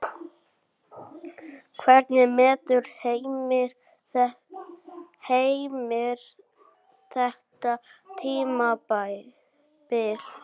Hvernig metur Heimir þetta tímabil?